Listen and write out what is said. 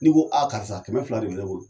Ni ko a karisa kɛmɛ fila de be ne bolo